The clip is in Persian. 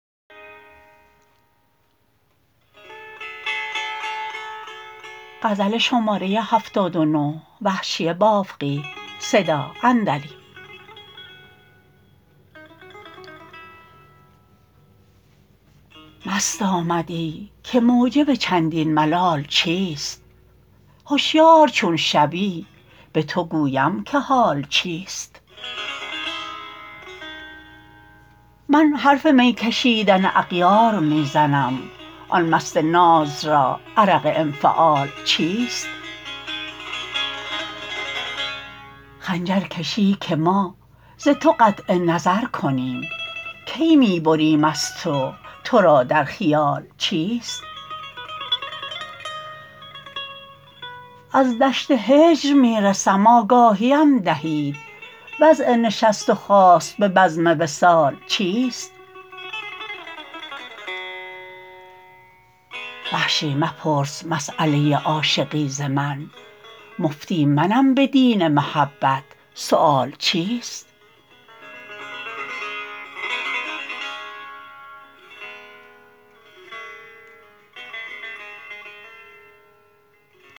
مست آمدی که موجب چندین ملال چیست هشیار چون شوی به تو گویم که حال چیست من حرف می کشیدن اغیار می زنم آن مست ناز را عرق انفعال چیست خنجر کشی که ما ز تو قطع نظر کنیم کی می بریم از تو ترا در خیال چیست از دشت هجر می رسم آگاهیم دهید وضع نشست و خاست به بزم وصال چیست وحشی مپرس مسأله عاشقی ز من مفتی منم به دین محبت سؤال چیست